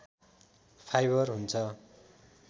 fibre हुन्छ